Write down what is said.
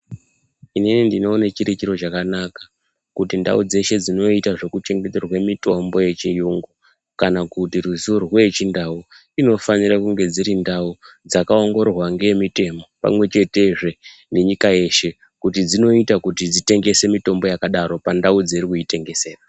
Inini ndinowone chirichiro chakanaka kuti ndau dzeshe dzinoita zvekuchengeterwe mitombo yechiyungu kana kuti ruzivo rwechindau inofanire kunge dzirindau dzakawongororwa ngemitemo pamwechete zve ngenyika yeshe kuti dzinoita kuti dzitengese mitombo yakadaro pandau dzeirikuyitengesera.